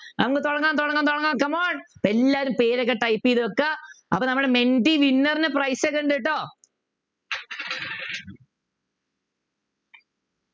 അങ്ങ് തുടങ്ങാം തുടങ്ങാം തുടങ്ങാം come on എല്ലാരും പേരൊക്കെ type ചെയ്തു വെക്കാ അപ്പൊ നമ്മുടെ മെൻറ്റി winner നു prize ഒക്കെ ഉണ്ട് കെട്ടോ